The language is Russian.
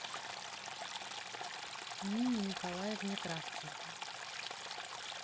нине николаевне кравченко